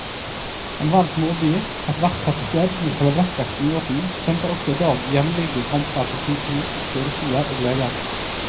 Enhver småby, ethvert tettsted med selvrespekten i orden, kjemper også i dag jevnlige kamper for sykehus, fødestuer og leger.